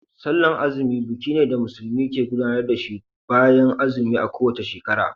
Sallan azumi buki ne da musulmi ke gudanar da shi bayan azumi a kowace shekara.